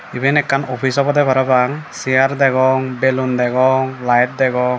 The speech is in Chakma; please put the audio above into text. iben ekkan offis obode parapang sear degong belun degong light degong.